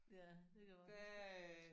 Ja det kan jeg godt huske